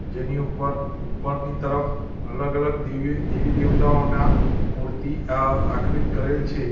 જેની ઉપર ઉપરની તરફ અલગ અલગ દેવી દેવી દેવતાઓના મૂર્તિ અ આકૃત કરેલ છે.